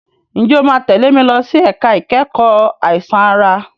Ǹjẹ́ o máa tẹ̀lé mi lọ sí ẹ̀ka ìkẹ́kọ̀ọ́ àìsàn ara?